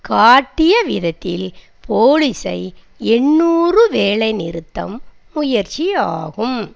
காட்டிய விதத்தில் போலீஸை எண்ணூறு வேலைநிறுத்தம் முயற்சியாகும்